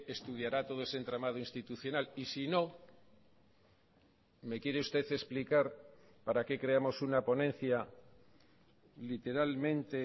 estudiará todo ese entramado institucional y si no me quiere usted explicar para qué creamos una ponencia literalmente